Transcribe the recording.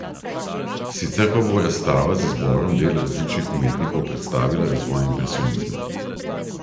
Sicer pa bo razstava z izborom del različnih umetnikov predstavila razvoj impresionizma.